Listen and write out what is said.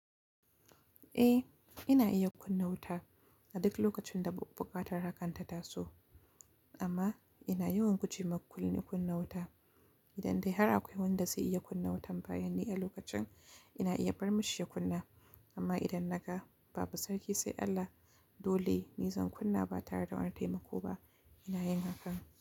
Eh, ina iya kunna wuta a duk lokacin da bu-- buƙatar hakan ta taso. Amma ina yawan guje makulli kunna wuta. Idan dai har akwai wanda zai iya kunna wutan bayan ni a lokacin, ina iya bar mashi ya kunna. Amma idan naga babu sarki sai Allah dole ni zan kunna ba tare da wani taimako ba, ina yin hakan.